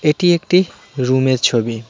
এটি একটি রুমের ছবি .